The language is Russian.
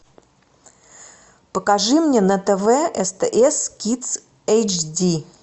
покажи мне на тв стс кидс эйчди